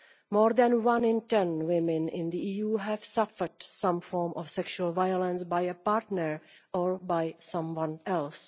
More than one in 10 women in the EU have suffered some form of sexual violence by a partner or by someone else.